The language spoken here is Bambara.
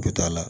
Du t'a la